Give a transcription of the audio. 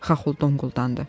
Xaxol donquldandı.